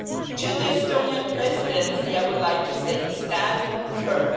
To the Estonian Presidency, I would like to say stand firm.